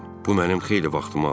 Bu mənim xeyli vaxtımı aldı.